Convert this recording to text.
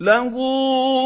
لَهُ